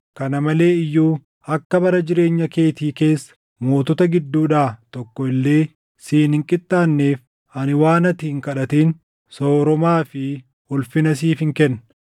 Kana malee iyyuu akka bara jireenya keetii keessa mootota gidduudhaa tokko illee siin hin qixxaanneef ani waan ati hin kadhatin sooromaa fi ulfina siifin kenna.